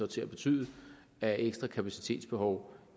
til at betyde af ekstra kapacitetsbehov